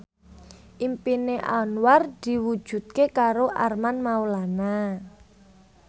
impine Anwar diwujudke karo Armand Maulana